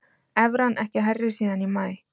Evran ekki hærri síðan í maí